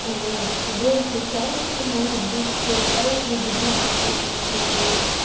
по большей части может быть полагаюсь на других людей потому что